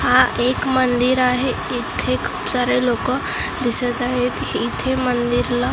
हा एक मंदिर आहे इथे खूप सारे लोकं दिसतं आहेत इथे मंदिरला --